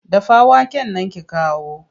Dafa waken nan ki kawo!